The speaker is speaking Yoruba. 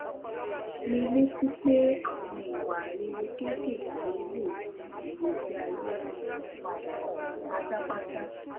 mi létí pé àwọn ìwà rere kéékèèké lè yí ìgbésí ayé ẹnì kan padà pátápátá